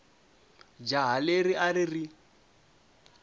jaha leri a ri ri